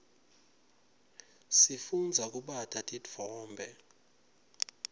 sifundza kubata titfombe